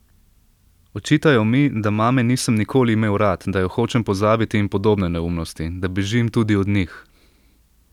Očitajo mi, da mame nisem nikoli imel rad, da jo hočem pozabiti in podobne neumnosti, da bežim tudi od njih.